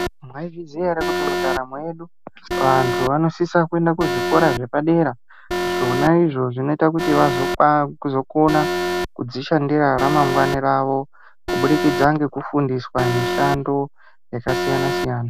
Mwaizviziya ere kuti mundaramo yedu kuti vantu vanosisa kuenda kuzvikora zvepadera, zvona izvo zvinoita kuti vazokona kudzishandira ramangwana ravo kubudikidza ngekufundiswa mishando yakasiyana-siyana.